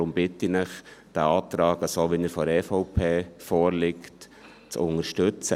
Deshalb bitte ich Sie, den Antrag, so wie er von der EVP vorliegt, zu unterstützen.